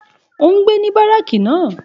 Òun gbé ní báràkì náà